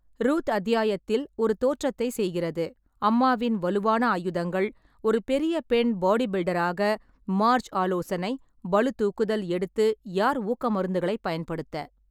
Ruth அத்தியாயத்தில் ஒரு தோற்றத்தை செய்கிறது "அம்மாவின் வலுவான ஆயுதங்கள்", ஒரு பெரிய பெண் பாடிபில்டராக, மார்ஜ் ஆலோசனை, பளுதூக்குதல் எடுத்து யார், ஊக்க மருந்துகளை பயன்படுத்த.